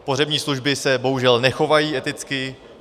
Pohřební služby se bohužel nechovají eticky.